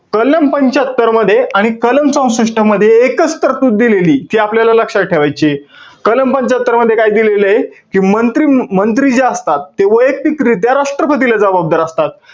कलम पंच्यात्तरमध्ये, आणि कलम चौसष्ट मध्ये एकच तरतूद दिलेलीय. जी आपल्याला लक्षात ठेवायचीय. कलम पंच्यात्तरमध्ये काय दिलेलंय? कि मंत्री~ मंत्री जे असतात, ते वैयक्तिकरित्या राष्ट्रपतीला जबाबदार असतात.